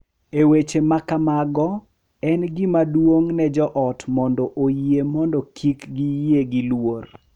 E weche ma kamago, en gima duong’ ne jo ot mondo oyie mondo kik giyie gi luor .